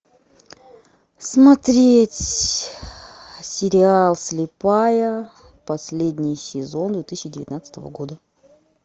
смотреть сериал слепая последний сезон две тысячи девятнадцатого года